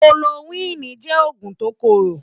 Kólórókwini jè ógún tó kóró